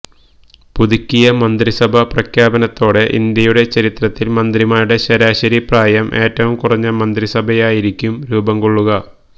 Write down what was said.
പുതുക്കിയ മന്ത്രിസഭാ പ്രഖ്യാപനത്തോടെ ഇന്ത്യയുടെ ചരിത്രത്തില് മന്ത്രിമാരുടെ ശരാശരി പ്രായം ഏറ്റവും കുറഞ്ഞ മന്ത്രിസഭയായിരിക്കും രൂപം കൊള്ളുക